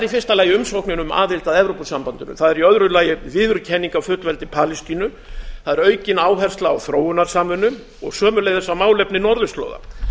fyrsta lagi umsóknin um aðild að evrópusambandinu það er í öðru lagi viðurkenning á fullveldi palestínu það er aukin áhersla á þróunarsamvinnu og sömuleiðis á málefni norðurslóða